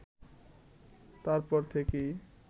তারপর থেকেই